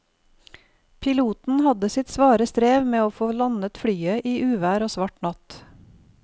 Piloten hadde sitt svare strev med å få landet flyet i uvær og svart natt.